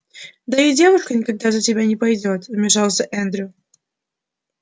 да и девушка никогда за тебя не пойдёт вмешался эндрю